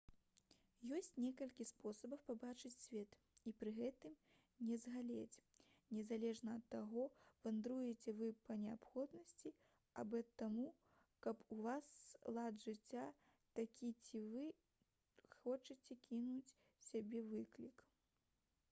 ёсць некалькі спосабаў пабачыць свет і пры гэтым не згалець незалежна ад таго вандруеце вы па неабходнасці або таму што ў вас лад жыцця такі ці вы хочаце кінуць сабе выклік